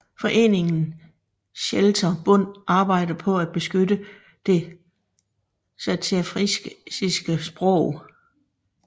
Foreningen Seelter Bund arbejder på at beskytte det saterfrisiske sprog